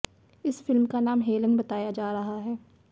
इस फिल्म का नाम हेलेन बताया जा रहा है